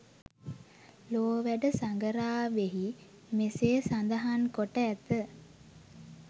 ලෝ වැඩ සඟරාවෙහි මෙසේ සඳහන් කොට ඇත.